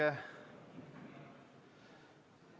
Ei ole.